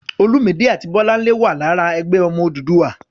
Olúmidé àti Bọ́láńlé wà lára "Ẹgbẹ́ Ọmọ Odùduwà."